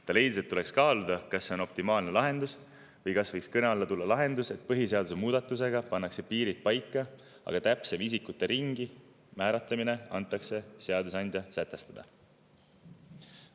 Ta leidis, et tuleks kaaluda, kas see on optimaalne lahendus või kas võiks kõne alla tulla see, et põhiseaduse muudatusega pannakse paika piirid, aga täpsem isikute ringi määratlemine antakse seadusandja sätestada.